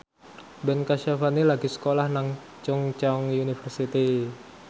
Ben Kasyafani lagi sekolah nang Chungceong University